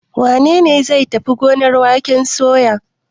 Wane ne zai tafi gonar waken soya?